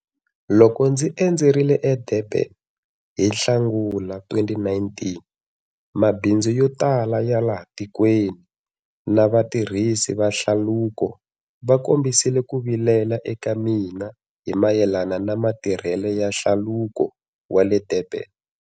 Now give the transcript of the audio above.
Loko ndzi endzerile eDurban hi Nhlangula 2019, mabindzu yo tala ya laha tikweni na vatirhisi va hlaluko va kombisile ku vilela eka mina hi mayelana na matirhelo ya Hlaluko wa le Durban.